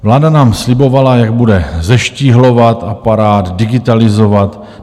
Vláda nám slibovala, jak bude zeštíhlovat aparát, digitalizovat.